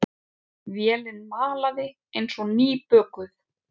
Vélin malaði eins og nýbökuð.